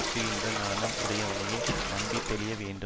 அஞ்சுகின்ற நாணம் உடையவனையே நம்பி தெளிய வேண்டும்